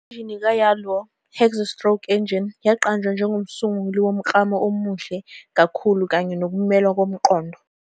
Injini ka-Yalouh "Hexa-Stroke Engine" yaqanjwa njengomsunguli womklamo omuhle kakhulu kanye nokumelwa komqondo.